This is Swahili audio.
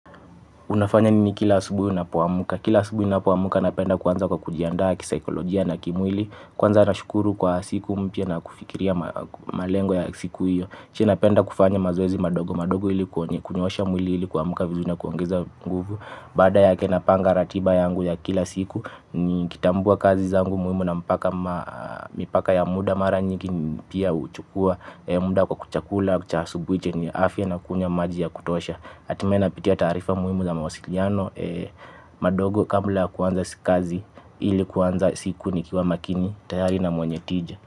Unafanya nini kila asubui unapo amka kila asubui ninapoamka napenda kuanza kujiandaa kisaikologia na kimwili. Kwanza nashukuru kwa siku mpya na kufikiria malengo ya siku hiyo. Kisha napenda kufanya mazoezi madogo. Madogo ili kunyoosha mwili ili kuamka vizuri na kuongeza nguvu. Baada yake napanga ratiba yangu ya kila siku. Ni kitambua kazi zangu mpia ya muda maranyingi. Pia uchukua muda kwa chakula cha asubuhi chenye afya na kunywa maji ya kutosha. Atimae napitia taarifa muimu za mawasiliano. Madogo kabula ya kuanza sikazi ili kuwanza siku ni kiwa makini tayari na mwenye tija.